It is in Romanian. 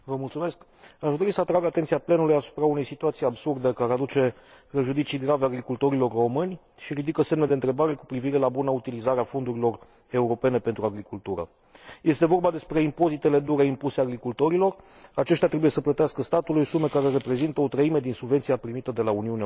Aș dori să atrag atenția plenului asupra unei situații absurde, care aduce prejudicii grave agricultorilor români și ridică semne de întrebare cu privire la buna utilizare a fondurilor europene pentru agricultură. Este vorba despre impozitele dure, impuse agricultorilor aceștia trebuie să plătească statului sume care reprezintă o treime din subvenția primită de la Uniunea Europeană.